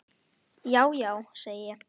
Já, já, segi ég.